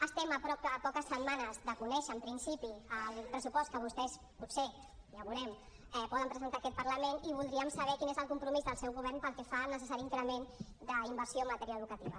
estem a poques setmanes de conèixer en principi el pressupost que vostès potser ja ho veurem poden presentar a aquest parlament i voldríem saber quin és el compromís del seu govern pel que fa al necessari increment d’inversió en matèria educativa